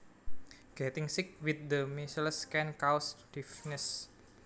Getting sick with the measles can cause deafness